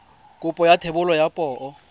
kopo ya thebolo ya poo